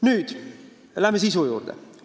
Läheme nüüd sisu juurde.